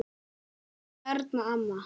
Elsku Erna amma.